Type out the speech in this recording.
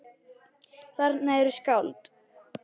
Þarna eru skáld.